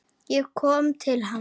Ég kom til hans.